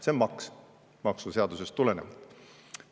" See on maks, maksuseadusest tulenevalt.